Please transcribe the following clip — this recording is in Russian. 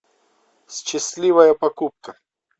счастливая покупка